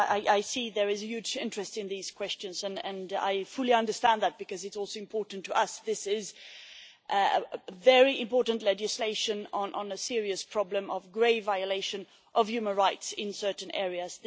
There is clearly a huge interest in these questions, and I fully understand that because it is also important to us. This is very important legislation on a serious problem of grave violation of human rights in certain areas.